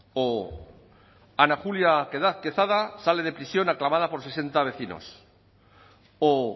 o ana julia quesada sale de prisión aclamada por sesenta vecinos o